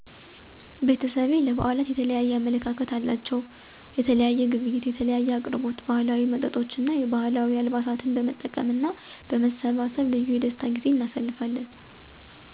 ቤተሰቤ ለብዓላት የተለየ አመለካከት አላቸው። የተለየ ግብይት፣ የምግብ አቅርቦት፣ ባህላዊ መጠጦች እና የባህል አልባሳትን በመጠቀም እና በመሰባሰብ ልዩ የደስታ ጊዜ እናሳልፋለን።